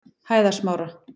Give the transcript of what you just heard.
Hæðasmára